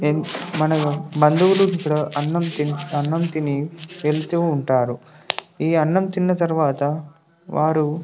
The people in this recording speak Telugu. ఇన్ మన బంధువులు అనాం తిన అనాం తిని వెళ్తునుంటారు ఈ అనాం తిన తర్వాత వారు --